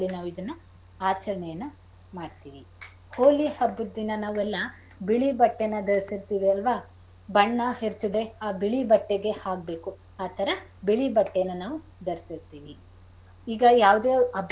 ನಾವಿದನ್ನ ಆಚರಣೆಯನ್ನ ಮಾಡ್ತೀವಿ. ಹೋಳಿ ಹಬ್ಬದ್ ದಿನ ನಾವೆಲ್ಲ ಬಿಳಿ ಬಟ್ಟೆನಾ ಧರ್ಸಿರ್ತಿವಿ ಅಲ್ವಾ ಬಣ್ಣ ಎರ್ಚಿದರೆ ಆ ಬಿಳಿ ಬಟ್ಟೆಗೆ ಆಗ್ಬೇಕು ಆತರ ಬಿಳಿ ಬಟ್ಟೆನ ನಾವು ಧರ್ಸಿರ್ತಿವಿ ಈಗ ಯಾವ್ದ್ ಯಾವ್ದ್ ಹಬ್ಬ.